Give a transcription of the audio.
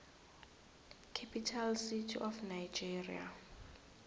capital city of nigeria